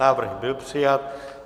Návrh byl přijat.